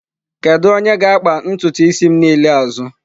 Kedu onye ga-akpa ntutu isi m niile azụ?